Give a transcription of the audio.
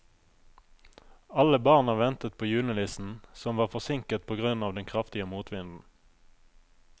Alle barna ventet på julenissen, som var forsinket på grunn av den kraftige motvinden.